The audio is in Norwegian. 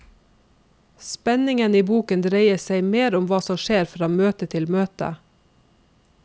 Spenningen i boken dreier seg mer om hva som skjer fra møte til møte.